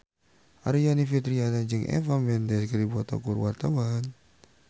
Aryani Fitriana jeung Eva Mendes keur dipoto ku wartawan